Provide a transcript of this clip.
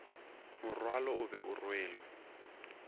morwalo o be o rwelwe